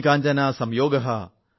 മണി കാഞ്ചന സംയോഗഃ